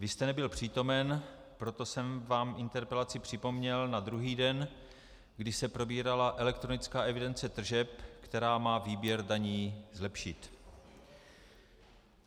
Vy jste nebyl přítomen, proto jsem vám interpelaci připomněl na druhý den, kdy se probírala elektronická evidence tržeb, která má výběr daní zlepšit.